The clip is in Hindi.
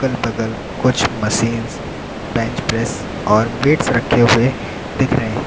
अगल बगल कुछ मशीनस बेंचप्रेस और वेट्स रखे हुए दिख रहे हैं।